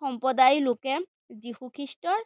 সম্প্ৰদায়ৰলোকে যীশু খ্ৰীষ্টৰ